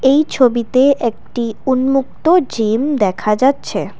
এই ছবিতে একটি উন্মুক্ত জিম দেখা যাচ্ছে।